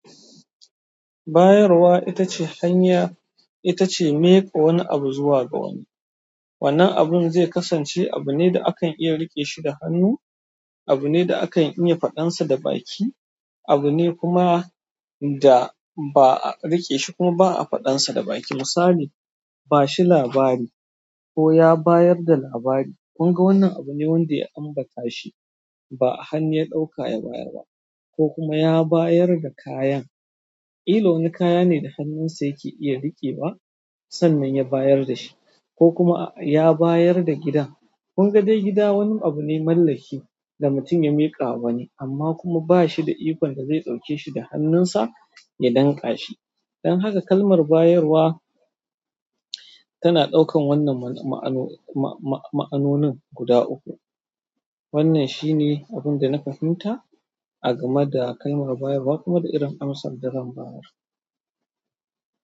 Bayarwa ita ce hanya, ita ce miƙa wani abu zuwa ga wani. Wannan abun zai kasance abu ne da akan iya riƙe shi da hannu, abu ne da akan iya faɗansa da baki, abu ne kuma da ba a riƙe shi kuma ba a faɗansa da baki. Misali, bashi labari ko ya bayar da labari. Mun ga wannan abu ne wanda ya ambata shi ba hannu ya ɗaukaya bayar ba ko kuma ya bayar da kayan. Ilo wani kaya ne da hannunsa yake iya riƙe ba sannan ya bayar da shi ko kuma ya bayar da gidan. Mun ga dai gida wani abu ne mallaki da mutum ya miƙa wa ni amma kuma ba shi da ikon da zai ɗauke shi da hannunsa ya danƙa shi. Don haka kalmar bayarwa tana ɗaukan wannan ma'anonin guda uku. Wannan shi ne abin da na fahimta a game da kalmar bayarwa kuma da irin amsar da zan bayar.